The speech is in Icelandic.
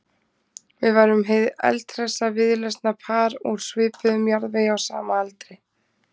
Við værum hið eldhressa víðlesna par úr svipuðum jarðvegi á sama aldri.